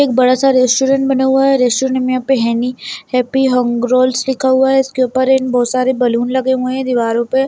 एक बड़ा सा रेस्टोरेंट बना हुआ है रेस्टोरेंट पे है नहीं यहाँ पे हैप्पी हंग रोल्स लिखा हुआ है उसके ऊपर एंड बहुत सारे बलून लगा हुआ है दीवारों पे।